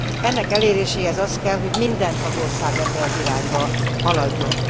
Ennek eléréséhez az kell, hogy minden tagország ebbe az irányba haladjon.